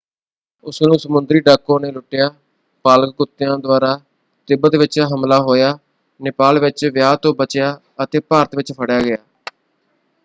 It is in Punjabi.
ਉਸਨੂੰ ਸਮੁੰਦਰੀ ਡਾਕੂਆਂ ਨੇ ਲੁੱਟਿਆ ਪਾਲਗ ਕੁਤਿਆਂ ਦੁਆਰਾ ਤਿੱਬਤ ਵਿੱਚ ਹਮਲਾ ਹੋਇਆ ਨੇਪਾਲ ਵਿੱਚ ਵਿਆਹ ਤੋਂ ਬਚਿਆ ਅਤੇ ਭਾਰਤ ਵਿੱਚ ਫੜਿਆ ਗਿਆ।